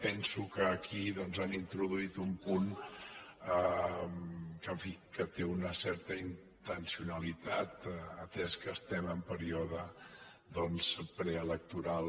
penso que aquí han introduït un punt que en fi té una certa intencionalitat atès que estem en període preelectoral